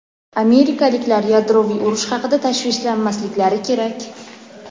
amerikaliklar yadroviy urush haqida tashvishlanmasliklari kerak.